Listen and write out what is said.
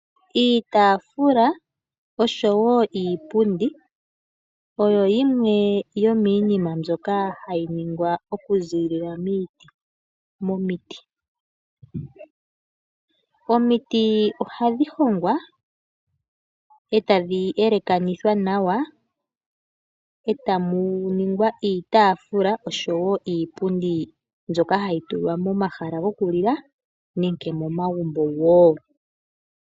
Iitafula oshowo iipundi oyo yimwe yo miinima mbyoka hayi ningwa oku ziilila momiti. Omiti ohadhi hongwa etadhi elakanithwa nawa eta mu ningwa iitafula oshowo iipundi mbyoka hayi tulwa mo mahala goku lila nenge mo magumbo woo.